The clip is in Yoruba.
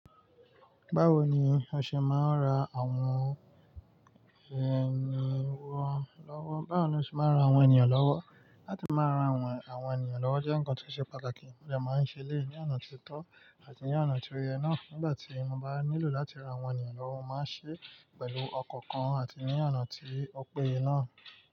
Báwo ni o ṣe máa ń ra àwọn ènìyàn lọ́wọ́? Báwo ni o ṣe máa ń ra àwọn ènìyàn lọ́wọ́? Láti máa ran àwọn, àwọn ènìyàn lọ́wọ́ jẹ́ ǹkan tí ó ṣe pàtàkì, mó dẹ máa ń ṣe éleyii ní ona tí ó tọ́ àti ní ona tí ó yẹ náà. Nígbà tí mo bá nílò láti ra àwọn ènìyàn lọ́wọ́, mo máa ń ṣe é pẹ̀lú ọkan kan àti ní ona tí ó péye náà.